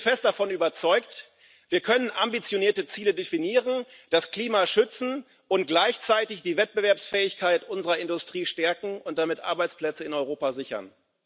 Ich bin fest davon überzeugt Wir können ambitionierte Ziele definieren, das Klima schützen und gleichzeitig die Wettbewerbsfähigkeit unserer Industrie stärken und damit Arbeitsplätze in Europa sichern.